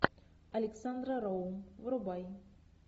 александра роу врубай